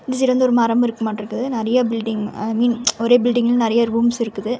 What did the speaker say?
இந்த சைடு வந்து ஒரு மரம் இருக்கு மாட்றுக்குது நெறைய பில்டிங் ஐ மீன் ஒரே பில்டிங்ல நெறைய ரூம்ஸ் இருக்குது.